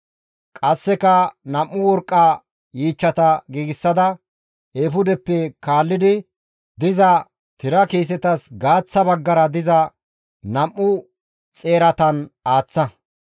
Qasseka nam7u worqqa yiichchata giigsada, eefudeppe kaalli diza tira kiisetas gaaththa baggara diza nam7u xeeratan aaththa.